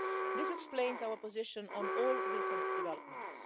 This explains our position on all recent developments.